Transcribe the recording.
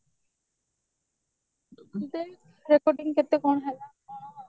ଦେଖ recording କେତେ କଣ ହେଲା କଣ ଆଉ